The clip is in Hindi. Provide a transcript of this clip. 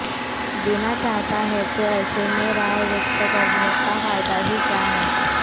देना चाहता है तो ऐसे में राय व्यक्त करने का फायदा ही क्या है